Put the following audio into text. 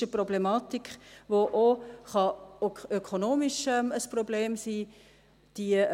Es ist eine Problematik, die auch ökonomisch ein Problem sein kann.